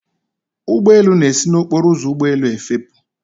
ụgbọ elu na-esi n'okporo ụzọ ụgbọ elu efepụ